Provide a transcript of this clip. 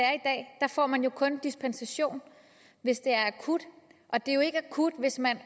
er får man jo kun dispensation hvis det er akut og det er jo ikke akut hvis man